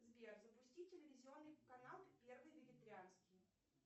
сбер запусти телевизионный канал первый вегетарианский